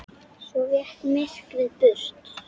Svo vék myrkrið burt.